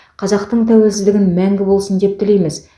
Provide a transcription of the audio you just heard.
қазақтың тәуелсіздігін мәңгі болсын деп тілейміз